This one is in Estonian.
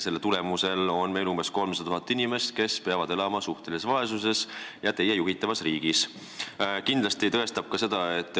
Selle tulemusel on meil umbes 300 000 inimest, kes peavad teie juhitavas riigis suhtelises vaesuses elama.